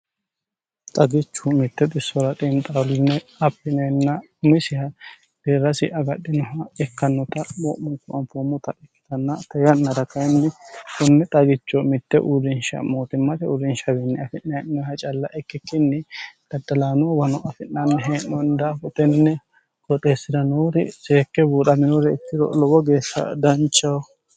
xagichu mitte xisora xiinqaaqe abbineenna umisiha deerrasi agadhinoha ikkannota mo'munku anfoommota ikkitanna te yannara kayinni kunni xagicho mitte uurinsha mootimmate uurinshawiinni afi'ne'noha calla ikkikkinni daddalaanoowano afi'nanni hee'nonni dafira hutenne qoxeessi'ra noori seekke buuxaminore ikkiro lowo geeshsha danchaho